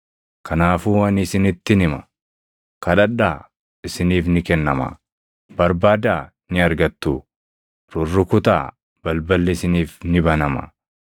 “Kanaafuu ani isinittin hima: Kadhadhaa, isiniif ni kennamaa; barbaadaa, ni argattuu; rurrukutaa, balballi isiniif ni banamaa.